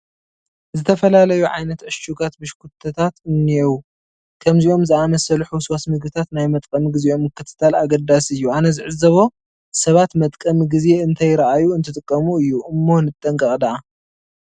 ዝተፈላለዩ ዓይነት ዕሹጋት ብሽኩትታት እኔዉ፡፡ ከምዚኦም ዝኣምሰሉ ሕውስዋስ ምግብታት ናይ መጥቀሚ ግዜኦም ምክትታል ኣገዳሲ እዩ፡፡ ኣነ ዝዕዘቦ ሰባት መጥቀሚ ግዜ እንተይርአዩ እንትጥቀሙ እዩ እሞ ንጠንቀቕ ድኣ፡፡